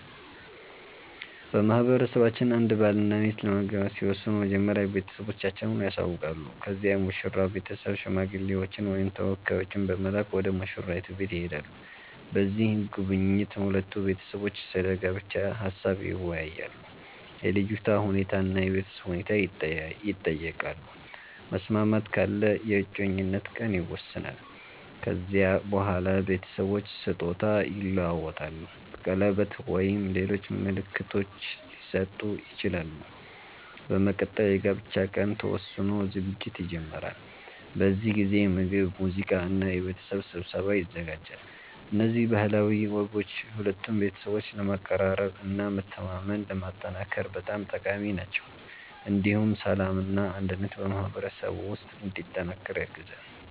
በማህበረሰባችን አንድ ባልና ሚስት ለመጋባት ሲወስኑ መጀመሪያ ቤተሰቦቻቸውን ያሳውቃሉ። ከዚያ የሙሽራው ቤተሰብ ሽማግሌዎችን ወይም ተወካዮችን በመላክ ወደ ሙሽራይቱ ቤት ይሄዳሉ። በዚህ ጉብኝት ሁለቱ ቤተሰቦች ስለ ጋብቻ ሀሳብ ይወያያሉ፣ የልጅቷ ሁኔታ እና የቤተሰብ ሁኔታ ይጠየቃሉ። መስማማት ካለ የእጮኝነት ቀን ይወሰናል። ከዚያ በኋላ ቤተሰቦች ስጦታ ይለዋወጣሉ፣ ቀለበት ወይም ሌሎች ምልክቶች ሊሰጡ ይችላሉ። በመቀጠል የጋብቻ ቀን ተወስኖ ዝግጅት ይጀመራል። በዚህ ጊዜ ምግብ፣ ሙዚቃ እና የቤተሰብ ስብሰባ ይዘጋጃል። እነዚህ ባህላዊ ወጎች ሁለቱን ቤተሰቦች ለማቀራረብ እና መተማመንን ለማጠናከር በጣም ጠቃሚ ናቸው። እንዲሁም ሰላምና አንድነት በማህበረሰቡ ውስጥ እንዲጠናከር ያግዛሉ።